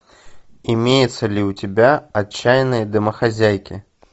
имеется ли у тебя отчаянные домохозяйки